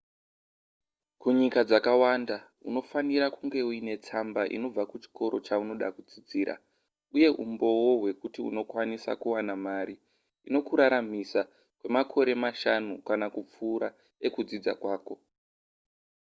kunyika dzakawanda unofanira kunge uine tsamba inobva kuchikoro chaunoda kudzidzira uyewo umboo hwekuti unokwanisa kuwana mari inokuraramisa kwemakore mashanu kana kupfuura ekudzidza kwako